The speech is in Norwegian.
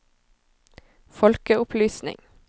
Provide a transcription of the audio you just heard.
folkeopplysning